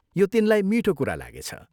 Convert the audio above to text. यो तिनलाई मीठो कुरा लागेछ।